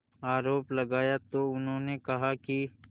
आरोप लगाया तो उन्होंने कहा कि